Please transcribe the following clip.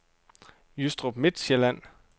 Jystrup Midtsjælland